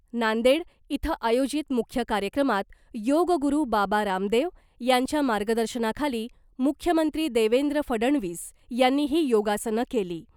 नांदेड इथं आयोजित मुख्य कार्यक्रमात योग गुरू बाबा रामदेव यांच्या मार्गदर्शनाखाली मुख्यमंत्री देवेंद्र फडणवीस यांनीही योगासनं केली .